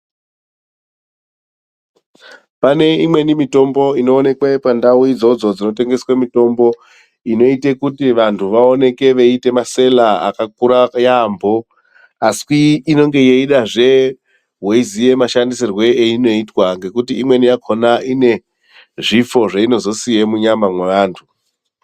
Pane imweni mitombo inoonekwe pandau idzodzo dzinotengeswe mitombo inoite kuti muntu aoneke eiite masela akakura yaambo. Asi inonge yeidazve veiziya mashandisirwe einoitwa ngekuti imweni yakona ine zvifo zvainozosiya munyama mweantu.